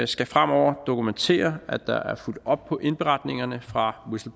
skal fremover dokumentere at der er fulgt op på indberetningerne fra